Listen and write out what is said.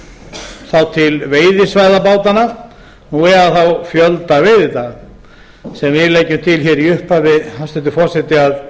þá til veiðisvæða bátanna eða fjölda veiðidaga sem við leggjum til hér í upphafi hæstvirtur forseti að